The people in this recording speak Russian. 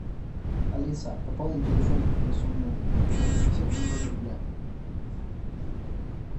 алиса пополни телефон на сумму восемьдесят четыре рубля